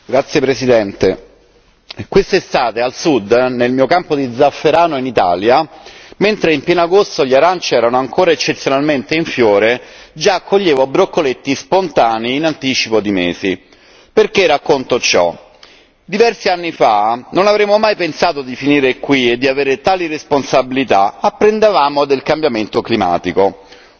Signora Presidente, onorevoli colleghi, quest'estate al Sud, nel mio campo di zafferano in Italia, mentre in pieno agosto gli aranci erano ancora eccezionalmente in fiore, già coglievo broccoletti spontanei in anticipo di mesi. Perché racconto ciò? Diversi anni fa non avremmo mai pensato di finire qui e di avere tali responsabilità apprendevamo del cambiamento climatico.